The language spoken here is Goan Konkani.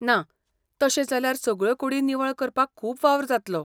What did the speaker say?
ना, तशें जाल्यार सगळ्यो कुडी निवळ करपाक खूब वावर जातलो.